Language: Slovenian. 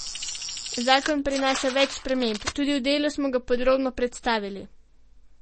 Zakon prinaša več sprememb, tudi v Delu smo ga podrobno predstavili.